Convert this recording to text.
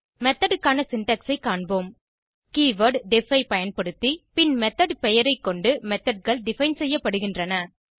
method க்கான syntax ஐ காண்போம் கீவர்ட் டெஃப் ஐ பயன்படுத்தி பின் மெத்தோட் பெயரை கொண்டு Methodகள் டிஃபைன் செய்யப்படுகின்றன